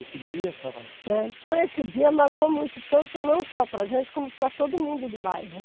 Esse dia, você estava falando. Né, então esse dia marcou muito, tanto não só para a gente, como para todo mundo do bairro.